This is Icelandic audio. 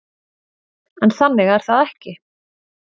En þannig er það ekki.